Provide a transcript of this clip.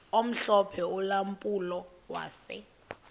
omhlophe ulampulo wase